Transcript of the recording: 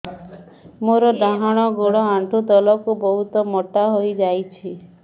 ମୋର ଡାହାଣ ଗୋଡ଼ ଆଣ୍ଠୁ ତଳକୁ ବହୁତ ମୋଟା ହେଇଯାଉଛି